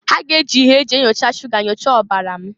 Ha ga-eji ihe e ji enyocha shuga nyochaa ọbara m.